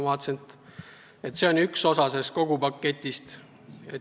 Vaatasin, et see on üks osa kogu paketist.